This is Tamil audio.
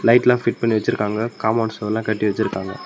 லைட்ல்லாம் ஃபிட் பண்ணி வச்சிருக்காங்க காம்பவுண்ட் செவுரெல்லாம் கட்டி வச்சிருக்காங்க.